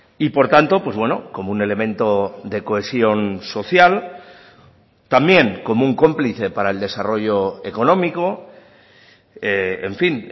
y por tanto pues bueno como un elemento de cohesión social también como un cómplice para el desarrollo económico en fin